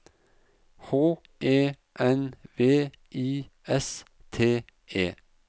H E N V I S T E